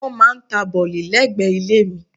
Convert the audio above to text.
Wọ́n máà ń ta bọ̀lì lẹ́gbẹ̀ẹ́ ilé mi.